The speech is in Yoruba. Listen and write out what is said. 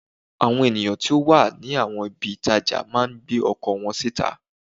Àwọn èèyàn tó wà láwọn ibi ìtajà máa ń gbé ọkọ̀ wọn síta